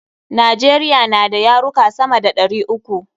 Najeriya na da yaruka sama da ɗari uku.